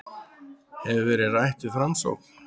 Hefur verið rætt við Framsókn